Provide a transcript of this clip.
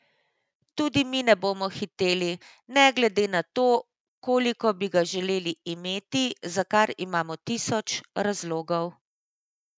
Toda mi ne bomo hiteli, ne glede na to, koliko bi ga želeli imeti, za kar imamo tisoč razlogov.